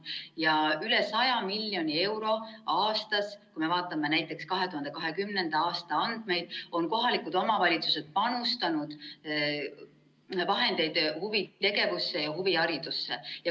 Kohalikud omavalitsused on panustanud üle 100 miljoni eurot aastas, kui me vaatame näiteks 2020. aasta andmeid, huvitegevusse ja huviharidusse.